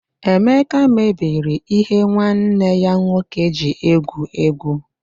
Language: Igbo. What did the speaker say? Emeka mebiri ihe nwanne ya nwoke ji egwu égwú.